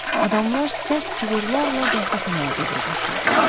Adamlar sərt cığırlarla qəhvəxanaya doğru qaçırdılar.